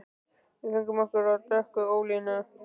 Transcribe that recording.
Við fengum okkur af dökku ölinu.